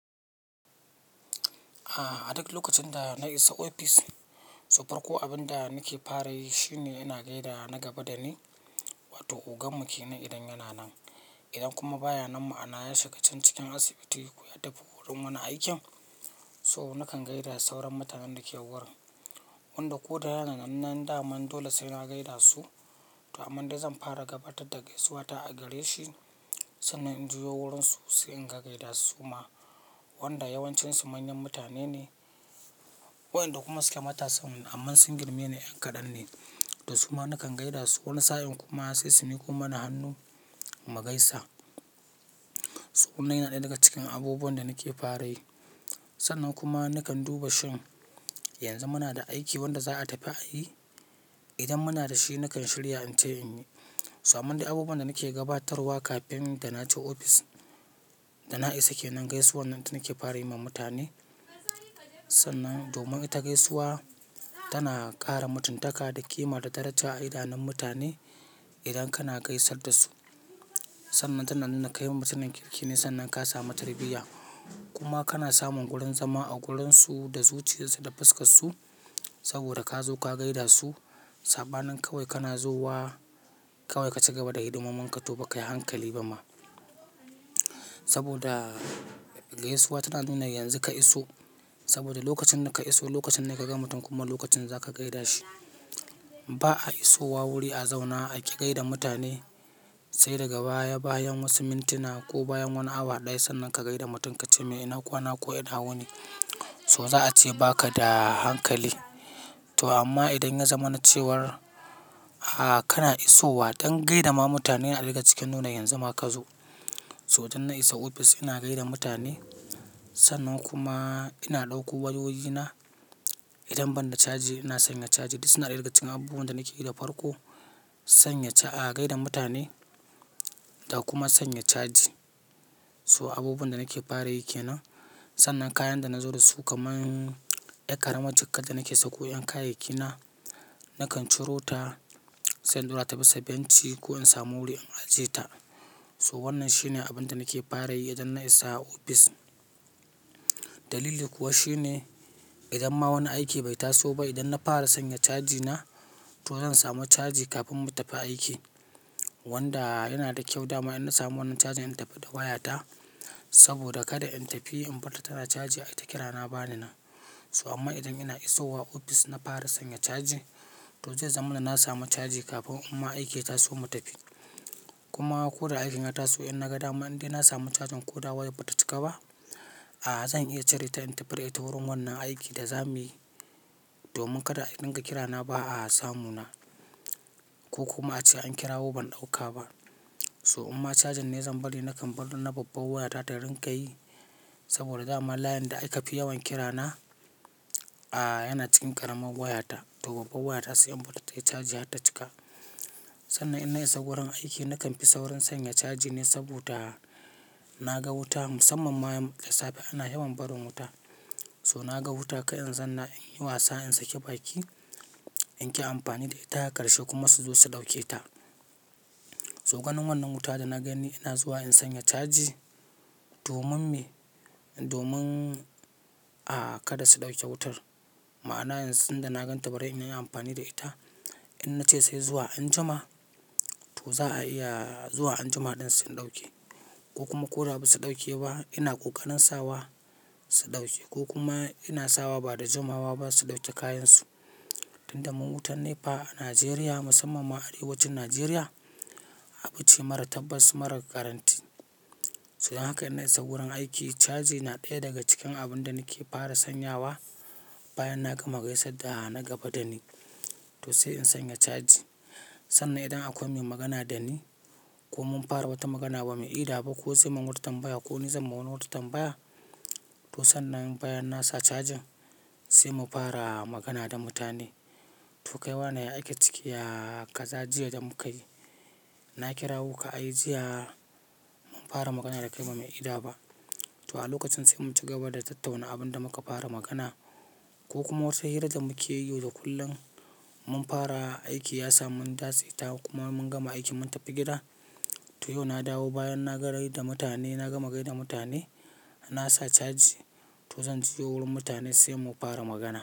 A, a duk lokacin da na isa ofis, so farko abun da nake fara yi shine ina gaida na gaba dani, wato ogan mu ke nan idan yana nan. Idan kuma baya nan ma'ana ya shiga can cikin asibiti ko ya tafi wurin wani aikin. So nakan gaida sauran mutanen da ke wurin wanda ko da yana nan nan da man dole sai na gaida su. To amman dai zan fara gabatar da gaisuwata a gare shi, sannan in juya wurinsu sai in gaida su ma wanda yawancinsu manyan mutane ne wayanda kuma suke matasan amma sun girme ni yan kaɗan ne da su ma nakan gaida su. Wani sa'in kuma sai su miko mana hannu mu gaisa. To kuma yana ɗaya daga cikin abubuwan da nake fara yi. Sannan kuma nakan duba shin yanzu muna da aiki wanda za'a tafi ayi. Idan muna da shi nakan shirya in tai in yi. To amman dai abubuwan da nake gabatarwa kafin da na tai ofis da na isa ke nan gaisuwa nan nake fara yi ma mutane. Sannan domin ita gaisuwa tana ƙara mutuntaka da ƙima da daraja a idanun mutane idan kana gaisar da su. Sannan tana nuna kai mutumin kirki ne sannan ka samu tarbiyya. Kuma kana samun wurin zama a wurinsu da zuciyarsu da fuskarsu saboda ka zo ka gaida su. Saɓanin kawai kana zowa kawai ka ci gaba da hidimomin ka to ba ka yi hankali ba ma. Saboda gaisuwa tana nuna yanzu ka iso saboda lokacin da ka iso lokacin da ka ga mutum kuma lokacin za ka gaida shi. Ba a iso wa wuri a zauna a ki gaida mutane sai daga baya bayan wasu mintuna ko bayan wani awa ɗaya sannan ka gaida mutum ka ce "me ina kwana ko ina wuni" so za a ce baka da hankali. To amma idan ya zama na cewar a kana isowa don gaida ma mutane a ɗai daga cikin nuna yanzu ma ka zo. To idan na isa ofis ina gaida mutane sannan kuma ina ɗauko wayoyina. Idan ban da caji ina sanya caji. Duk suna ɗaya daga cikin abubuwan da nake yi da farko. Sanya a gaida mutane da kuma sanya caji. To abubuwan da nake fara yi ke nan. Sannan kayan da na zo da su kaman yar ƙaramar jikar da nake sa ko 'yan kayayyaki na, nakan ciro ta sai in ɗaura ta bisa benci ko in samu wuri in ajie ta. To wannan shine abin da nake fara yi idan na isa ofis. Dalili kuwa shine idan ma wani aiki bai taso ba, idan na fara sanya cajina to zan samu caji kafin mu tafi aiki wanda yana da kyau dama in na samu wannan cajin in tafi da wayata saboda kada in tafi in bar ta tana caji ai ta kira na ba ni nan. To amma idan ina isowa ofis na fara sanya caji to zai zama na samu caji kafin umma aikin ya taso mu tafi. Kuma ko da aikin ya taso in na ga dama in dai na samu cajin ko da wayar bata cika ba, a zan iya cire ta in tafi da ita wurin wannan aikin da za muyi domin kada a ɗinga kirana ba a samu na ko kuma a ce an kira wo ban ɗauka ba. To umma cajin ne zan bari nakan bar na babbar wayata ta rinka yi saboda dama layin da aka fi yawan kira na a yana cikin ƙaramar wayata to babban wayata sai in bar ta tayi caji har ta cika. Sannan in na isa wurin aiki nakan fi saurin sanya caji ne saboda na ga wuta musamman ma da safe ana yawan barin wuta. So na ga wuta ka in zanna in yi wasa in saki baki in ƙi amfani da ita ƙarshe kuma su zo su ɗauke ta. To ganin wannan wuta da na gani ina zuwa in sanya caji domin me domin a kada su ɗauke wutar. Ma'ana yanzu tunda na ganta bari in yi amfani da ita. In na ce sai zuwa anjima to za a iya zuwa anjima ɗin su ɗauke ko kuma ko da ba su ɗauke ba ina ƙoƙarin sawa su ɗauke ko kuma ina sawa ba da jimawa ba su ɗauke kayansu. In da mu wutar NEPA a Najeriya musamman ma arewacin Najeriya abu ce mara tabbas mara guarantee. To dan haka idan na isa wurin aiki caji na ɗaya daga cikin abun da nake fara sanyawa bayan na gama gaisar da na gaba dani to sai in sanya caji. Sannan idan akwai mai magana da ni ko mun fara wata magana ba mu ida ba ko zai mun wata tambaya ko ni zan ma wani wata tambaya to sannan bayan nasa cajin sai mu fara magana da mutane. To kai wannan ya ake ciki ya kaza jiya da muka yi na kirawo ka ai jiya mun fara magana da kai ba mu ida ba. To a lokacin sai mun ci gaba da tattauna abun da muka fara magana ko kuma wasu hirar da muke yi yau da kullun mun fara aiki ya sa mun dace ta kuma mun gama aiki mun tafi gida. To yau na dawo bayan na gaida mutane na gama gaida mutane nasa caji to zan jiyo wurin mutane sai mu fara magana.